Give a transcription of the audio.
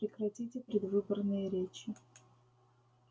прекратите предвыборные речи